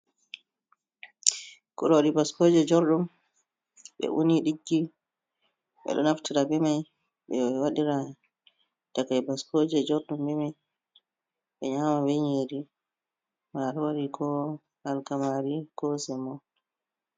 Kuroori baskooje jorɗum, ɓe uni ɗiggi. Ɓe ɗo naftira be mai ɓe waɗira takai baskooje jorɗum be mai, ɓe nƴama ɓe nƴiri, maarori ko alkamari ko semo.